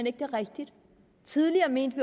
ikke er rigtigt tidligere mente